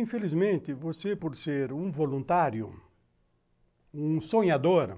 Infelizmente, você por ser por ser um voluntário, um sonhador,